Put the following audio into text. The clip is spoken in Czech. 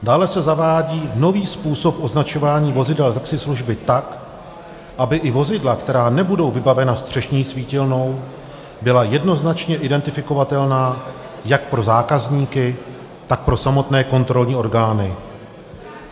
Dále se zavádí nový způsob označování vozidel taxislužby tak, aby i vozidla, která nebudou vybavena střešní svítilnou, byla jednoznačně identifikovatelná jak pro zákazníky, tak pro samotné kontrolní orgány.